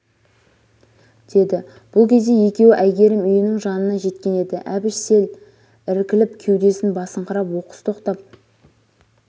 деді бұл кезде екеуі әйгерім үйінің жанына жеткен еді әбіш сел іркіліп кеудесін басыңқырап оқыс тоқтап